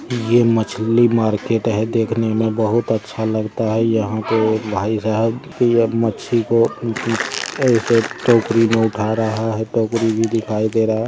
ये मछली मार्केट हैं देखने में बहोत अच्छा लगता हैं यहाँ पर भाई साहब ये मच्छी को एक टोकड़ी में उठा रहे हैं। टोकड़ी भी दिखाई दे रहा----